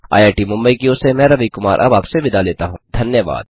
IIT Mumbai की ओर से मैं रवि कुमार अब आपसे विदा लेता हूँ